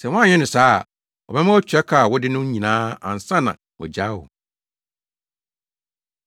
Sɛ woanyɛ no saa a, ɔbɛma woatua ka a wode no no nyinaa ansa na wagyaa wo.”